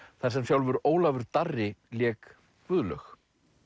þar sem sjálfur Ólafur Darri lék Guðlaug